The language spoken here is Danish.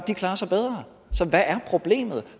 klarer sig bedre så hvad er problemet